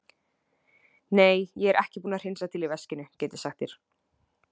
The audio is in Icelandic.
Nei, ég er búinn að hreinsa til í veskinu, get ég sagt þér.